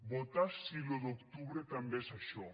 votar sí l’un d’octubre també és això